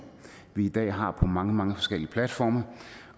vi i dag har på mange mange forskellige platforme